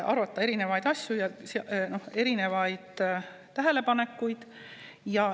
Arvestada tuleb erinevaid tähelepanekuid.